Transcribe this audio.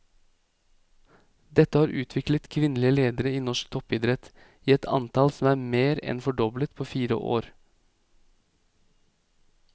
Dette har utviklet kvinnelige ledere i norsk toppidrett i et antall som er mer enn fordoblet på fire år.